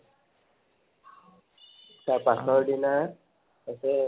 তাৰ পাছৰ দিনা আছে মনুহ বিহু